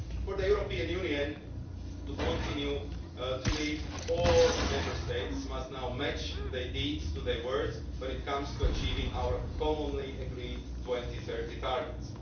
For the European Union to continue to lead, all Member States must now match their deeds to their words when it comes to achieving our commonly agreed 2030 targets.